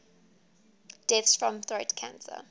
deaths from throat cancer